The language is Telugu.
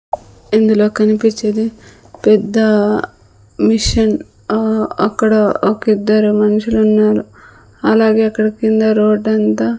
ఇందులో కనిపించేది పెద్ద ఆ మిషన్ ఆ అక్కడ ఒకిద్దరు మనుషులు ఉన్నారు అలాగే అక్కడ కింద రోడ్ అంతా --